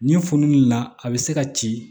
Nin fununen na a bɛ se ka ci